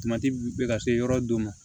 bɛ ka se yɔrɔ dɔ ma